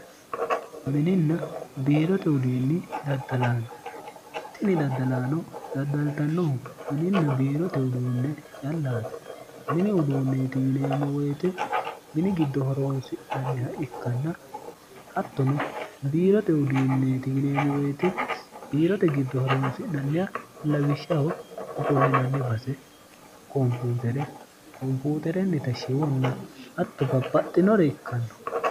mininna biirote udiinni daddalaaga tini daddalaano daddaltannohu mininna biirote uduunne callaati mini uduunneeti yineemmo woyite mini giddo horoonsi'nanniha ikkanna hattono biirote udiinneeti yineemmo woyite biirote giddo horoonsi'nanniha lawishshaho ofollinanni base kompuutere kompuuterennita shiwonna hatto bapaxxinore ikkanno